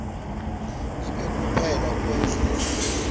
ibe kuphela kwendlela